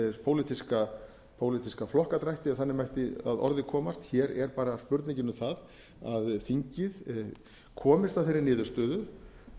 yfir alla pólitíska flokkadrætti ef þannig mætti að orði komast hér er bara spurningin um það að þingið komist að þeirri niðurstöðu